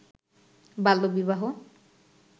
বাল্যবিবাহ